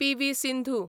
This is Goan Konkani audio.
पी.वी. सिंधू